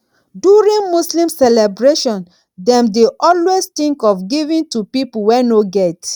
during muslim celebration dem dey always think of giving to pipo wey no get